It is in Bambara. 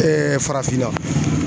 farafinna